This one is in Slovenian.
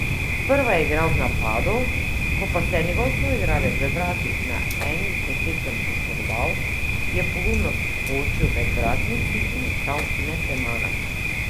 Sprva je igral v napadu, ko pa se je njegov soigralec v vratih na eni izmed tekem poškodoval, je pogumno vskočil med vratnici in ostal nepremagan.